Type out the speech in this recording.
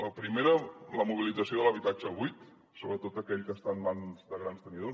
la primera la mobilització de l’habitatge buit sobretot aquell que està en mans de grans tenidors